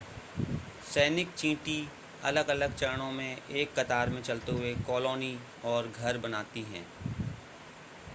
सैनिक चींटी अलग-अलग चरणों में एक कतार में चलते हुए कॉलोनी और घर बनाती हैं